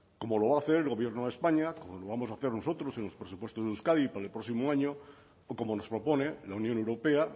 como lo va a hacer el gobierno de españa como lo vamos a hacer nosotros en los presupuestos de euskadi para el próximo año o como nos propone la unión europea